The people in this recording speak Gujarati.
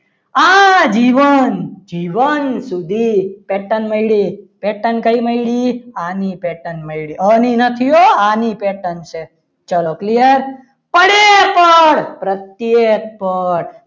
આજીવન જીવન સુધી pattern મળી pattern કઈ મળી? આની pattern મળી આની pattern નથી હો આની pattern છે ચલો clear પડે પણ પ્રત્યેક પણ